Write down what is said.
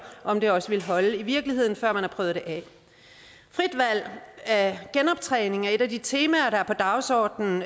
om det også vil holde i virkeligheden før man har prøvet det af frit valg af genoptræning er et af de temaer der er på dagsordenen